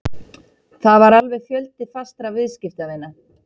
Það var alveg fjöldi fastra viðskiptavina